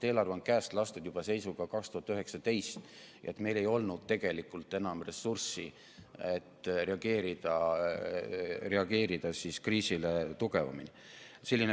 Eelarve on käest lastud 2019 ja meil ei olnud enam ressurssi, et reageerida kriisile tugevamini.